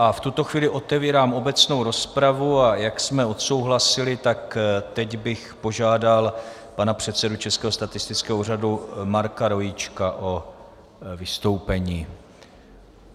A v tuto chvíli otevírám obecnou rozpravu, a jak jsme odsouhlasili, tak teď bych požádal pana předsedu Českého statistického úřadu Marka Rojíčka o vystoupení.